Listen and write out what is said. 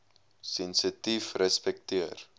sensitiefrespekteer